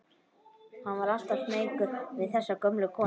Hann var alltaf smeykur við þessa gömlu konu.